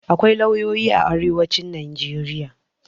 Akwai lauyoyi a arewacin Najeriya.